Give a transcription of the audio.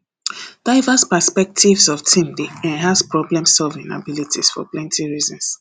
diverse perspectives for team dey enhance problemsolving abilities for plenty reasons